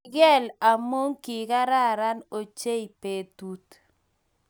Kigeel amu kigararan ochei betut